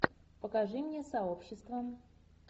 покажи мне сообщество